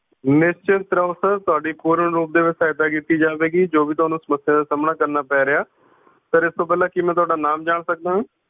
ਨਿਸ਼ਚਿੰਤ ਰਹੋ sir ਤੁਹਾਡੀ ਪੂਰਨ ਰੂਪ ਦੇ ਵਿੱਚ ਸਹਾਇਤਾ ਕੀਤੀ ਜਾਵੇਗੀ ਜੋ ਵੀ ਤੁਹਾਨੂੰ ਸਮੱਸਿਆ ਦ ਸਾਹਮਣਾ ਕਰਨਾ ਪੈ ਰਿਹਾ ਹੈ sir ਉਸ ਤੋਂ ਪਹਿਲਾ ਕੀ ਮੈਂ ਤੁਹਾਡਾ ਨਾਮ ਜਾਣ ਸਕਦਾ ਹਾਂ?